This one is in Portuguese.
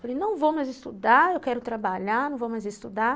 Falei, não vou mais estudar, eu quero trabalhar, não vou mais estudar.